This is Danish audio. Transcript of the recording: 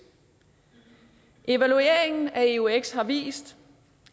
evalueringen af eux har vist